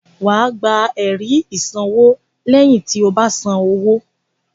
Wà á gba ẹ̀rí ìsanwó lẹ́yìn tí o bá san owó.